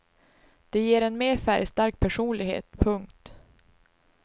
Det ger en mer färgstark personlighet. punkt